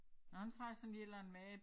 Nåh han siger sådan lige et eller andet med